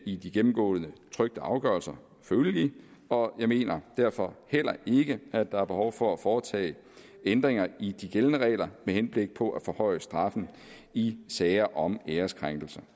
i de gennemgåede trykte afgørelser følelige og jeg mener derfor heller ikke at der er behov for at foretage ændringer i de gældende regler med henblik på at forhøje straffen i sager om æreskrænkelse